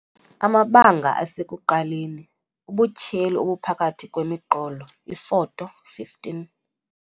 Amabanga asekuqaleni - ubutyheli obuphakathi kwemiqolo, iFoto 15.